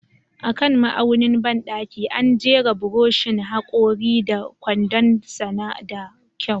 A kan ma'aunin bandaki, an jera buroshin hakori da kwandon sa da kyau.